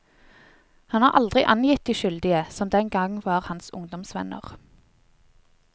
Han har aldri angitt de skyldige, som den gang var hans ungdomsvenner.